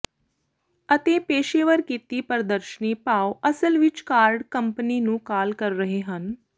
ਅਤੇ ਪੇਸ਼ੇਵਰ ਕੀਤੀ ਪ੍ਰਦਰਸ਼ਨੀ ਭਾਵ ਅਸਲ ਵਿੱਚ ਕਾਰਡ ਕੰਪਨੀ ਨੂੰ ਕਾਲ ਕਰ ਰਹੇ ਹਨ